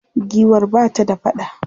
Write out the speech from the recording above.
Giwar ba ta da faɗa.